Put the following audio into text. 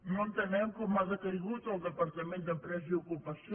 no entenem com ha decaigut el departament d’empresa i ocupació